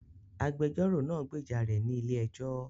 Agbẹjọ́rò náà gbèjà rè ní ilé ẹjọ